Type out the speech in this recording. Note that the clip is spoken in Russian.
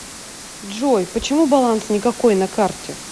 джой почему баланс никакой на карте